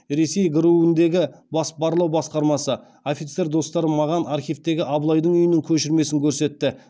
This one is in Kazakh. ресей гру індегі офицер достарым маған архивтегі абылайдың үйінің көшірмесін көрсетті